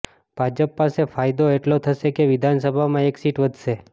ભાજપ પાસે ફાયદો એટલો થશે કે વિધાનસભામાં એક સીટ વધશે